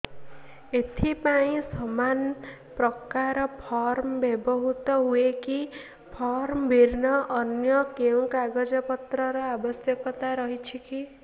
ଏଥିପାଇଁ ସମାନପ୍ରକାର ଫର୍ମ ବ୍ୟବହୃତ ହୂଏକି ଫର୍ମ ଭିନ୍ନ ଅନ୍ୟ କେଉଁ କାଗଜପତ୍ରର ଆବଶ୍ୟକତା ରହିଛିକି